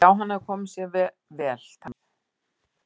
Já, hann hafði komið sér vel, það var ekki hægt að segja annað.